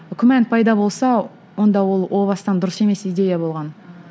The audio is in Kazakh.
күмән пайда болса онда ол о бастан дұрыс емес идея болған